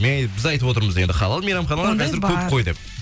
біз айтып отырмыз енді халал мейрамханалар қазір көп қой деп